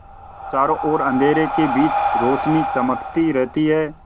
चारों ओर अंधेरे के बीच रौशनी चमकती रहती है